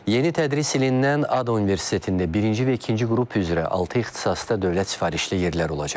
Yeni tədris ilindən ADU Universitetində birinci və ikinci qrup üzrə altı ixtisasda dövlət sifarişli yerlər olacaq.